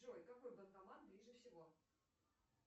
джой какой банкомат ближе всего